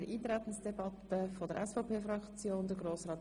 Zu den Anträgen äussern wir uns separat.